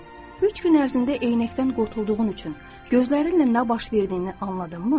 Üç gün ərzində eynəkdən qurtulduğun üçün gözlərinlə nə baş verdiyini anladınmı?